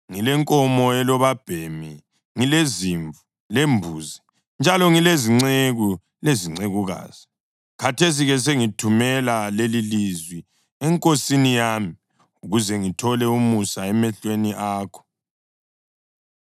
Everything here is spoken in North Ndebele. Ngilenkomo labobabhemi, ngilezimvu, lembuzi, njalo ngilezinceku lezincekukazi. Khathesi-ke sengithumela lelilizwi enkosini yami, ukuze ngithole umusa emehlweni akho.’ ”